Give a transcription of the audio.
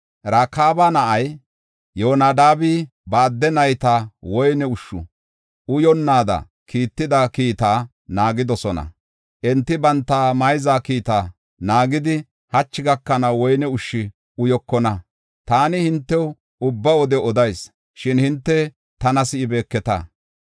Rakaaba na7ay Yoonadaabi ba adde nayta woyne ushshu uyonnaada kiittida kiitaa naagidosona. Enti banta mayza kiitaa naagidi hachi gakanaw woyne ushshu uyokona. Taani hintew ubba wode odayis; shin hinte tana si7ibeeketa.